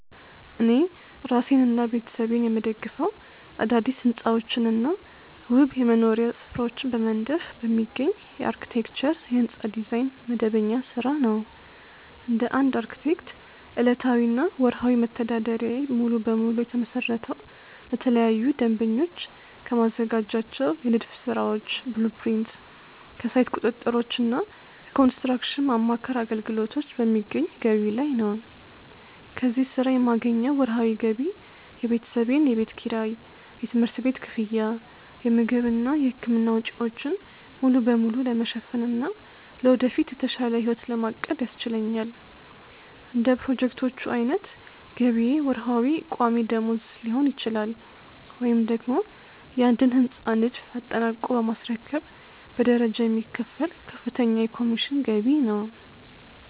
እኔ እራሴንና ቤተሰቤን የምደግፈው አዳዲስ ሕንፃዎችንና ውብ የመኖሪያ ስፍራዎችን በመንደፍ በሚገኝ የአርክቴክቸር (የሕንፃ ዲዛይን) መደበኛ ሥራ ነው። እንደ አንድ አርክቴክት፣ ዕለታዊና ወርሃዊ መተዳደሪያዬ ሙሉ በሙሉ የተመሰረተው ለተለያዩ ደንበኞች ከማዘጋጃቸው የንድፍ ሥራዎች (blueprints)፣ ከሳይት ቁጥጥሮችና ከኮንስትራክሽን ማማከር አገልግሎቶች በሚገኝ ገቢ ላይ ነው። ከዚህ ሥራ የማገኘው ወርሃዊ ገቢ የቤተሰቤን የቤት ኪራይ፣ የትምህርት ቤት ክፍያ፣ የምግብና የሕክምና ወጪዎችን ሙሉ በሙሉ ለመሸፈንና ለወደፊት የተሻለ ሕይወት ለማቀድ ያስችለኛል። እንደ ፕሮጀክቶቹ ዓይነት ገቢዬ ወርሃዊ ቋሚ ደመወዝ ሊሆን ይችላል፤ ወይም ደግሞ የአንድን ሕንፃ ንድፍ አጠናቆ በማስረከብ በደረጃ የሚከፈል ከፍተኛ የኮሚሽን ገቢ ነው።